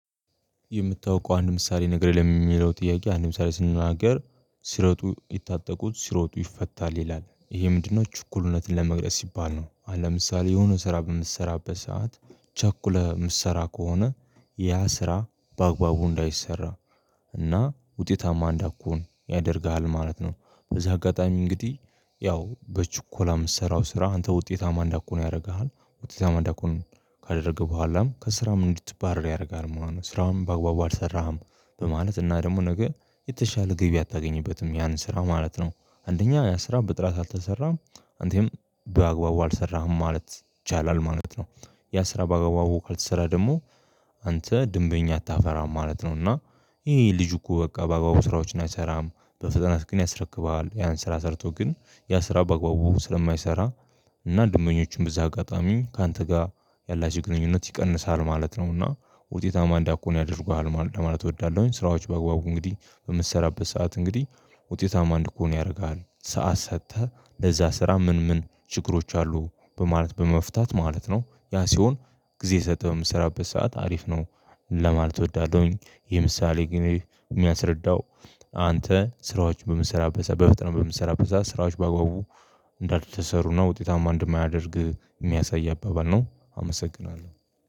የምታውቀው አንድ ምሳሌ ነገር ለሚለው ጥያቄ አንድ ምሳሌ ስንናገር ሲሮጡ ይታጠቁት ሲሮጡ ይፈታል ይላል ይሄ ምንድነው ችኩልነትን ለመግለጽ ሲባል ነው? ምሳሌ የሆነ ስራ በምትሰራበት ሰዓት ቸኩለ ምሰራ ከሆነ ያ ስራ በአግባቡ እንዳይሰራ እና ውጤታማ እንዳኩሁን ያደርግሃል ማለት ነው። በዚህ አጋጣሚ እንግዲህ ያው በችኮላ የምትሰራው ስራ አንተ ውጤታማ እንዳትሆን ያደርግሃል ውጤታማ እንዳኮን ካደረገ በኋላም ከስራም እንድትባረር ያደርጋል ማለት ነው። ስራውን በአግባቡ አልሰራህም በማለት እና ደግሞ ነገ የተሻለ ግብ አታገኝበትም ያን ስራ ማለት ነው። አንደኛ ያ ስራ ብጥራት አልተሰራም አንተም በአግባቡ አልሰራህም ማለት ይቻላል ማለት ነው። ያ ስራ በአግባቡ ካልተሰራ ደግሞ አንተ ድንበኛ አታፈራም ማለት ነውና። ይሄ ልጅ እኮ በቃ በአጋባቡ ስራዎች እናይሰራም በፈተናስ ግን ያስረክባል ያን ስራ ሰርቶ ግን ያ ስራ በአግባቡ ስለማይሰራ እና ድንበኞችን በዛ አጋጣሚ ካንተ ጋር ያላች ግንኙነት ይቀንሳል ማለት ነውና። ውጤታማ እንዳኮን ያደርጉሃል ለማለት እወዳለሁኝ ስራዎች በግባቡ እንግዲህ በምትሰራበት ሰዓት እንግዲህ ውጤታማ እንድኮን ያደርግሃል ሰዓት ሰጥተህ ለዛ ስራ ምን ምን ችግሮች አሉ በማለት በመፍታት ማለት ነው ያ ሲሆን ጊዜ ሰተህ ስራበት ሰዓት አሪፍ ነው ለማለት እወዳለሁኝ። የምሳሌ ግን የሚያስረዳው አንተ ስራዎችን በምሰራበት በፍጥነት በምሰራበት ስራዎች በአግባቡ እንዳትሰሩና ውጤታማ እንደማያደርግ የሚያሳይ አባባል ነው አመሰግናለሁ